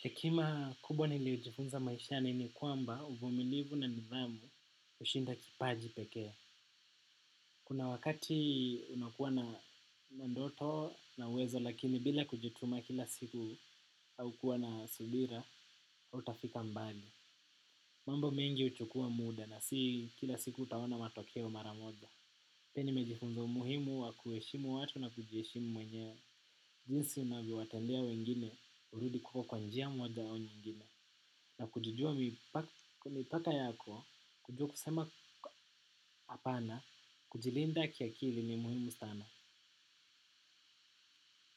Hekima kubwa niliojifunza maishani ni kwamba uvumilivu na nidhamu ushinda kipaji peke. Kuna wakati unakuwa na ndoto na uwezo lakini bila kujituma kila siku au kuwa na subira hautafika mbali. Mambo mengi uchukua mda na si kila siku utaona matokeo mara moja. Pia nimejifunza umuhimu wa kuheshimu watu na kujiheshimu mwenyewe. Jinsi unanyo watendea wengine urudi kwako kwa njia moja au nyingine na kujijua kwa mipaka yako, kujua kusema hapana, kujilinda kiakili ni muhimu sana.